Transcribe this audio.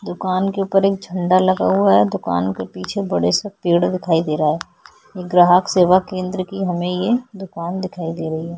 दुकान के ऊपर एक झंडा लगा हुआ हैं दुकान के पीछे बड़े से पेड़ दिखाई दे रहा हैं ग्राहक सेवा केंद्र की हमें ये दुकान दिखाई दे रही हैं।